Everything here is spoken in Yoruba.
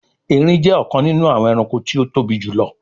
Èrin jé ọkàn nínú àwọn ẹranko tí o tóbi jùlọ